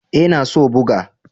E, na so boga.